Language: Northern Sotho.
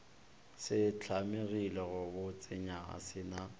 se hlamegile gabotsenyana se na